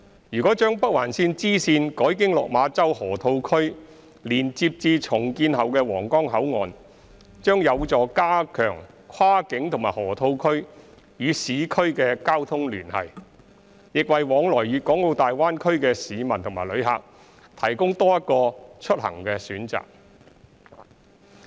如將北環綫支綫改經落馬洲河套區連接至重建後的皇崗口岸，將有助加強跨境和河套區與市區的交通聯繫，亦為往來粵港澳大灣區的市民及旅客提供多一個出行的選擇。